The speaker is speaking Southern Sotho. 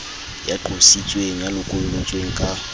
ya qositsweng ya lokollotsweng ka